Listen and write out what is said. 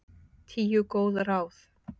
Tíu góð ráð